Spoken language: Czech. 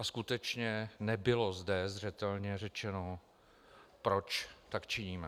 A skutečně nebylo zde zřetelně řečeno, proč tak činíme.